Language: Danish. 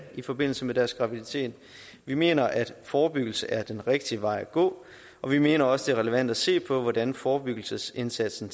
i forbindelse med deres graviditet vi mener at forebyggelse er den rigtige vej at gå og vi mener også relevant at se på hvordan forebyggelsesindsatsen